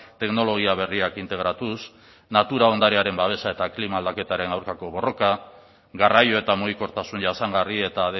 teknologia berriak integratuz natura ondarearen babesa eta klima aldaketaren aurkako borroka garraio eta mugikortasun jasangarri eta